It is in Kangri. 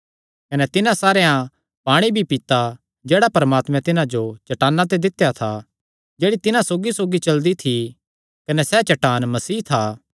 कने तिन्हां सारेयां पाणी भी पीता जेह्ड़ा परमात्मैं तिन्हां जो चट्टाना ते दित्या था जेह्ड़ी तिन्हां सौगीसौगी चलदी थी कने सैह़ चट्टान मसीह था